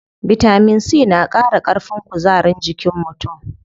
Bitamin C na qara ƙarfin kuzarin jikin mutum.